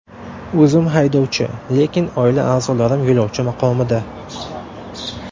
O‘zim haydovchi, lekin oila a’zolarim yo‘lovchi maqomida.